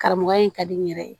Karamɔgɔya in ka di n yɛrɛ ye